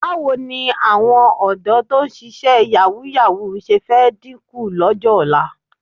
Báwo ni àwọn ọ̀dọ́ tó ń ṣíṣe yàwúù-yàwúù ṣe fẹ́ dínkù lọ́jọ́ ọ̀la?